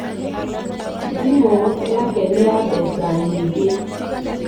Thimu yake nĩ ya mbeca nyingĩ.